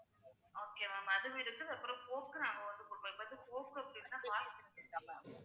okay ma'am அதுவும் இருக்கு அப்புறம் coke நாங்க வந்து